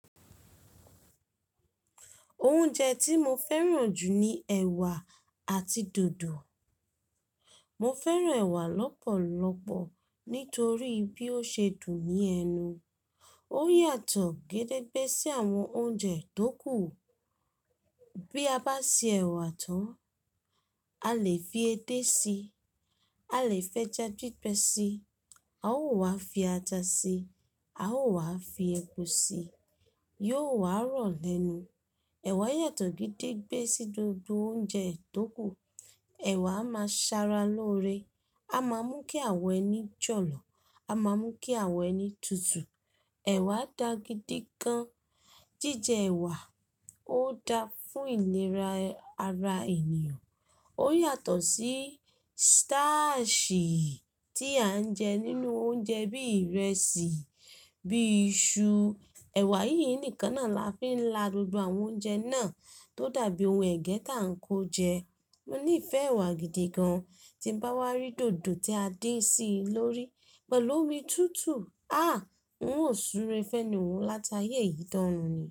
Oúnjẹ tí mo fẹ́ràn jù ni ẹ̀wà àti dòdò. Mo fẹ́ràn ẹ̀wà lọ́pọ̀lọpọ̀ nítorí bí ó ṣe dùn ní ẹnu. Ó yàtọ̀ gédégbé sí àwọn oúnjẹ tó kù. Bí a bá ṣe ẹ̀wà tán, a lè fi edé si, a lè fi eja gbígbẹ síi, a ó wá fi ata síi, a ó wá fi epo sí, yóò wá rọ̀ lẹ́nu. Ẹ̀wà yàtọ̀ gédégbé sí gbogbo oúnjẹ tó kù. Ẹ̀wà máa ń ṣara loore, a máa ń mú kí àwọ̀ ẹni jọ̀lọ̀, a máa ń mú kí àwọ̀ ẹni tutù. Ẹ̀wà dá gidi gan. Jíjẹ ẹ̀wà ó dáa fún ìlera ara ènìyàn. Ó yàtọ̀ sí staasi tí à ń jẹ nínú oúnjẹ bí ìrẹsì, bí iṣu. Ẹ̀wà yìí nìkan náà la fi la gbogbo àwọn oúnjẹ náà tó dàbí ohun ẹ̀gẹ́ tá ń kó jẹ. Mo ní ìfẹ́ ẹ̀wà gidi gan, tí nbá wa rí dòdò tí a dín sí i lórí pẹ̀lú omi tútù, a! N ó súre fẹ́ni un látayé yìí dorun ni.